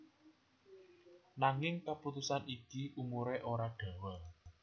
Nanging kaputusan iki umuré ora dawa